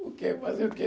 Porque fazer o quê?